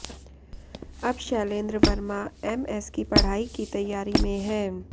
अब शैलेंद्र वर्मा एमएस की पढ़ाई की तैयारी में है